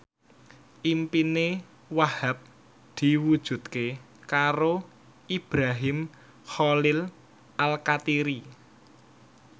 impine Wahhab diwujudke karo Ibrahim Khalil Alkatiri